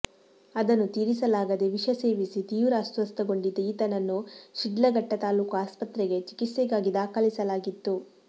ಅದನ್ನು ತೀರಿಸಲಾಗದೆ ವಿಷ ಸೇವಿಸಿ ತೀವ್ರ ಅಸ್ವಸ್ಥಗೊಂಡಿದ್ದ ಈತನನ್ನು ಶಿಡ್ಲಘಟ್ಟ ತಾಲೂಕು ಆಸ್ಪತ್ರೆಗೆ ಚಿಕಿತ್ಸೆಗಾಗಿ ದಾಖಲಿಸಲಾಗಿತ್ತು